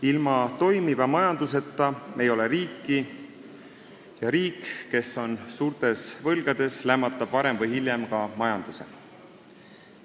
Ilma toimiva majanduseta ei ole riiki ja riik, kes on suurtes võlgades, lämmatab varem või hiljem ka majanduse.